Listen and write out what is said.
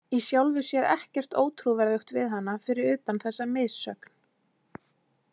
Í sjálfu sér ekkert ótrúverðugt við hana fyrir utan þessa missögn.